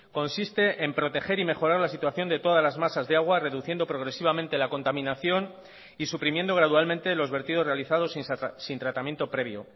consiste en proteger y mejorar la situación de todas las masas de agua reduciendo progresivamente la contaminación y suprimiendo gradualmente los vertidos realizados sin tratamiento previo